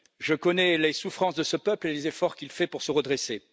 Je connais les souffrances de ce peuple et les efforts qu'il fait pour se redresser.